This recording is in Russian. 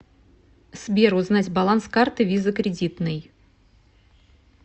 сбер узнать баланс карты виза кредитной